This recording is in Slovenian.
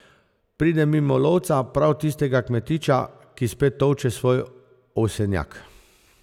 Pride mimo lovca, prav tistega kmetiča, ki spet tolče svoj ovsenjak.